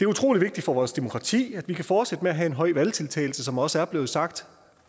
utrolig vigtigt for vores demokrati at vi kan fortsætte med at have en høj valgdeltagelse som det også er blevet sagt